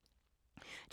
DR P3